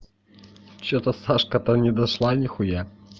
что-то сашка там не дошла нихуя